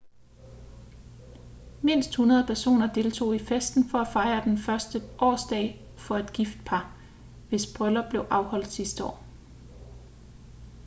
mindst 100 personer deltog i festen for at fejre den første årsdag for et gift par hvis bryllup blev afholdt sidste år